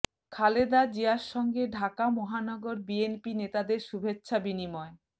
খালেদা জিয়ার সঙ্গে ঢাকা মহানগর বিএনপি নেতাদের শুভেচ্ছা বিনিময়